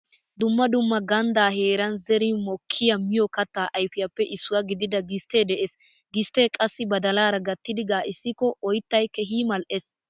Dumma dumma ganddaa heeran zeri mokkiya miyo kattaa ayfiyappe issuwa gidida gisttee de'ees. Gisttee qassi badalaara gattidi gaa'issikko oyttay keehi mal"ees.